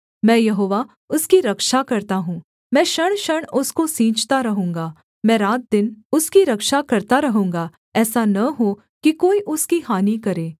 मैं यहोवा उसकी रक्षा करता हूँ मैं क्षणक्षण उसको सींचता रहूँगा मैं रातदिन उसकी रक्षा करता रहूँगा ऐसा न हो कि कोई उसकी हानि करे